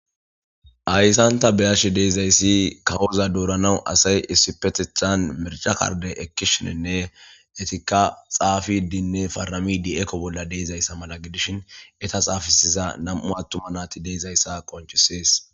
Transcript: hayssan ta be7ashe deezayssi kawoza dooranawu asay issipetethan mircha karde ekkishininne etikka xaafidinne faramidi ekko bolla deezayssa mala gidishin eta xaafisiza nam7u attuma naati de7izayssa qonchisees.